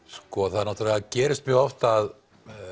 það gerist mjög oft að